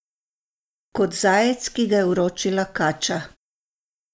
Kot zajec, ki ga je uročila kača.